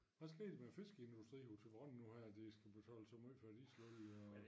Hvad sker der med fiskeindustrien i Thyborøn her nu her de skal betale så meget for dieselolie og